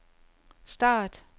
start